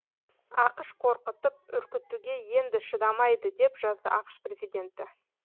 ақш қорқытып үркітуге енді шыдамайды деп жазды ақш президенті